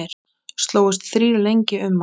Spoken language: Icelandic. Slógust þrír lengi um hann.